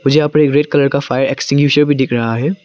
यहां पे एक रेड कलर फायर एक्टिंग्वीशर भी दिख रहा है।